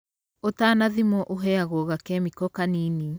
Ũtanathimwo ũheagwo gakemiko kanini.